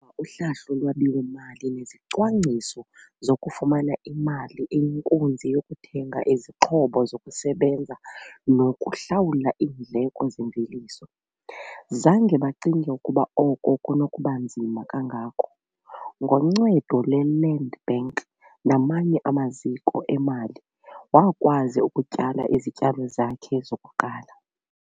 uhlahlo lwabiwo-mali nezicwangciso zokufumana imali eyinkunzi yokuthenga izixhobo zokusebenza nokuhlawula iindleko zemveliso. Zange bacinge ukuba oko kunokuba nzima kangako. Ngoncedo lwe-Land Bank namanye amaziko emali wakwazi ukutyala izityalo zakhe zokuqala.